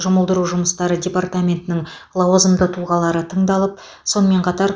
жұмылдыру жұмыстары департаментінің лауазымды тұлғалары тыңдалып сонымен қатар